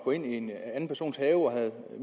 ind i en anden persons have og havde